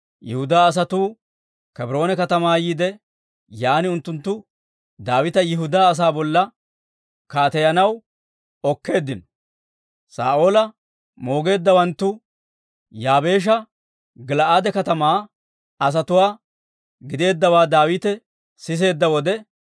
Yihudaa asatuu Kebroone katamaa yiide, yaan unttunttu Daawita Yihudaa asaa bolla kaateyanaw okkeeddino. Saa'oola moogeeddawanttu Yaabeesha Gil"aade katamaa asatuwaa gideeddawaa Daawite siseedda wode,